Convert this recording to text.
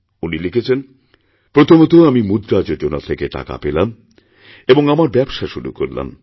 উনি লিখেছেন প্রথমতঃ আমি মুদ্রা যোজনা থেকেটাকা পেলাম এবং আমার ব্যবসা শুরু করলাম